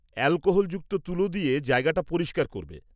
অ্যালকোহলযুক্ত তুলো দিয়ে জায়গাটা পরিষ্কার করবে।